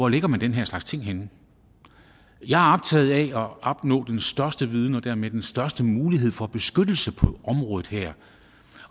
lægger den her slags ting henne jeg er optaget af at opnå den største viden og dermed den største mulighed for beskyttelse på området her